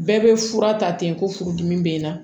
Bɛɛ bɛ fura ta ten ko furudimi bɛ n na